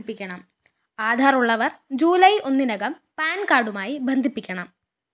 ആധാറുള്ളവര്‍ ജൂലായ് ഒന്നിനകം പാന്‍കാര്‍ഡുമായി ബന്ധിപ്പിക്കണം